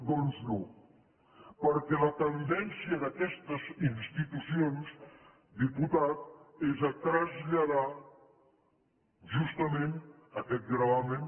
doncs no perquè la tendència d’aquestes institucions diputat és a traslladar justament aquest gravamen